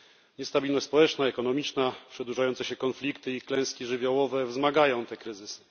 Niestabilność społeczna i ekonomiczna, przedłużające się konflikty i klęski żywiołowe wzmagają te kryzysy.